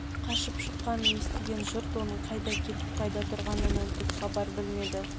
қашып шыққанын естіген жұрт оның қайда кетіп қайда тұрғанынан түк хабар білмеді